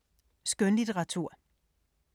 Skønlitteratur